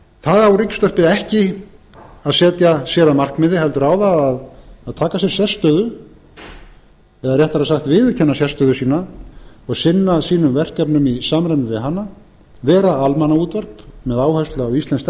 það á ríkisútvarpið ekki að setja sér að markmiði heldur á það að taka sér sérstöðu eða réttara sagt að viðurkenna sérstöðu sína og sinna sínum verkefnum í samræmi við hana vera almannaútvarp með áherslu á íslenskt